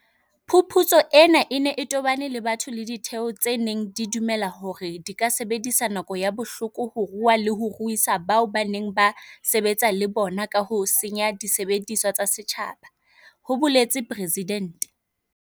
"Phuputso ena e ne e tobane le batho le ditheo tse neng di dumela hore di ka sebedisa nako ya bohloko ho rua le ho ruisa bao ba neng ba sebetsa le bona ka ho senya disebediswa tsa setjhaba," ho boletse Presidente.